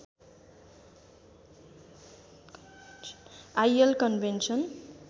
IL convention